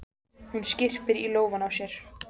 Hún skyrpir í lófana á sér.